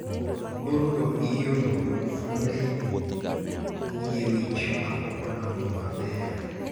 burgo iyudo kuom fuonde yie wich ma pok odongo maber